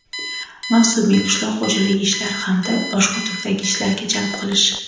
mavsumiy qishloq xoʼjaligi ishlari hamda boshqa turdagi ishlarga jalb qilish;.